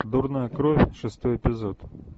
дурная кровь шестой эпизод